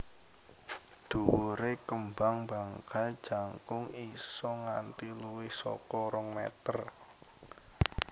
Dhuwure kembang bangkai jangkung isa nganti luwih saka rong meter